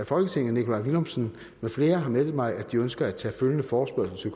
folketinget nikolaj villumsen med flere har meddelt mig at de ønsker at tage følgende forespørgsel